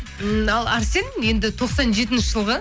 ал әрсен енді тоқсан жетінші жылғы